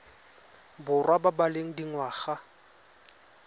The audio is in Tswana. borwa ba ba leng dingwaga